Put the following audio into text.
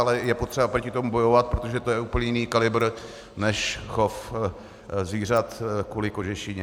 Ale je potřeba proti tomu bojovat, protože to je úplně jiný kalibr než chov zvířat kvůli kožešině.